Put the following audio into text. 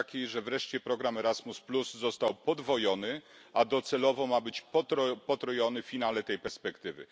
że wreszcie program Erasmus został podwojony, a docelowo ma być potrojony w finale tej perspektywy.